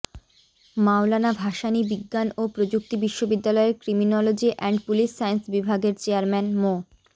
মওলানা ভাসানী বিজ্ঞান ও প্রযুক্তি বিশ্ববিদ্যালয়ের ক্রিমিনোলজি অ্যান্ড পুলিশ সায়েন্স বিভাগের চেয়ারম্যান মো